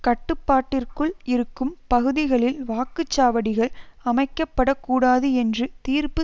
கட்டுப்பாட்டிற்குள் இருக்கும் பகுதிகளில் வாக்கு சாவடிகள் அமைக்கப்படக்கூடாது என்று தீர்ப்பு